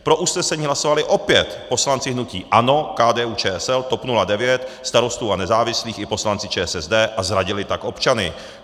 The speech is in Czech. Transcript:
Pro usnesení hlasovali opět poslanci hnutí ANO, KDU-ČSL, TOP 09, Starostů a nezávislých i poslanci ČSSD a zradili tak občany.